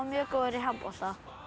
mjög góður í handbolta